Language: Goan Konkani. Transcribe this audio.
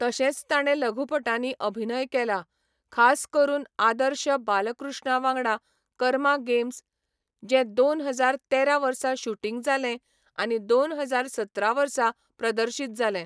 तशेंच ताणें लघुपटांनी अभिनय केला, खास करून आदर्श बालकृष्णा वांगडा कर्मा गेम्स, जें दोन हजार तेरा वर्सा शुटींग जालें आनी दोन हजार सतरा वर्सा प्रदर्शीत जालें.